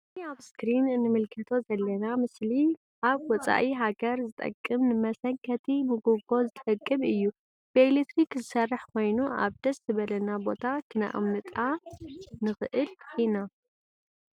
እዚ አብ እስክሪን እንምልከቶ ዘለና ምስሊ አብ ወፃኢ ሃገር ዝጠቅም ንመሰንከቲ ሞጎጎ ዝጠቅም እዩ::ብኤሊትሪክ ዝሰርሕ ኮይኑ አብ ደስ ዝበለና ቦታ ክነቅምጣ ንክእል ኢና::